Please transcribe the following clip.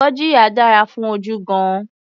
Gurgiya dára fún ojú gan-an.